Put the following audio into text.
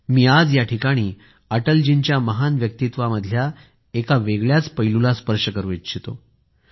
मी आज याठिकाणी अटलजींच्या महान व्यक्तित्वामधल्या एका वेगळ्याच पैलूला स्पर्श करू इच्छितो